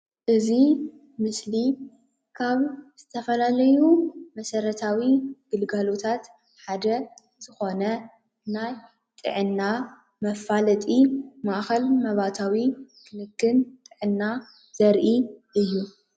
እዚ ምስሊ ካብ ዝተፈላለዩ መሰረታዊ ግልጋሎታት ሓደ ዝኮነ ናይ ጥዕና መፋለጢ ማእከል መባእታዊ ክንክን ጥዕና ዘርኢ እዩ ።